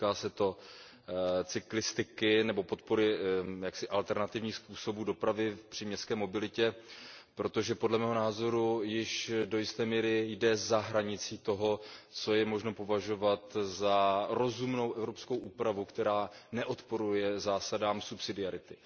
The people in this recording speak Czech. Týká se to cyklistiky nebo podpory alternativních způsobů dopravy v příměstské mobilitě, protože podle mého názoru již do jisté míry jde za hranici toho, co lze považovat za rozumnou evropskou úpravu, která neodporuje zásadám subsidiarity.